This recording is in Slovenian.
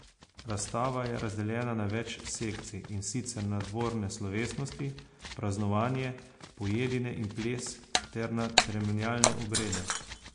Razstava je razdeljena na več sekcij, in sicer na dvorne slovesnosti, praznovanje, pojedine in ples ter na ceremonialne obrede.